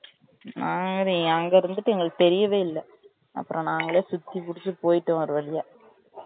நாங்களே அங்க இருந்துட்டு எங்களுக்கு தெரியவே இல்லை அப்புறம் நாங்களே சுத்தி புடுச்சு போய்டோம் ஒரு வழியா